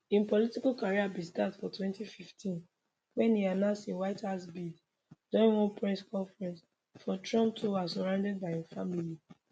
im political career bin start for 2015 wen e announce im white house bid during one press conference for trump tower surrounded by im family